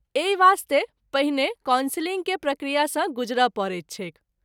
एहि वास्ते पहिने कॉन्सिलिंग के प्रक्रिया सँ गुजर’ परैत छैक।